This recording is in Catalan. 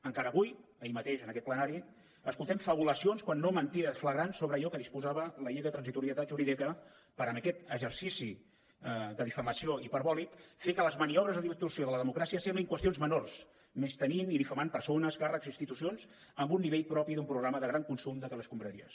encara avui ahir mateix en aquest plenari escoltem fabulacions quan no mentides flagrants sobre allò que disposava la llei de transitorietat jurídica per en aquest exercici de difamació hiperbòlica fer que les maniobres de distorsió de la democràcia semblin qüestions menors menystenint i difamant persones càrrecs i institucions amb un nivell propi d’un programa de gran consum de teleescombraries